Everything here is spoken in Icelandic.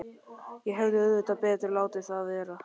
Ég hefði auðvitað betur látið það vera.